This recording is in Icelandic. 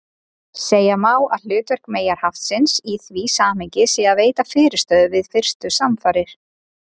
Segja má að hlutverk meyjarhaftsins í því samhengi sé að veita fyrirstöðu við fyrstu samfarir.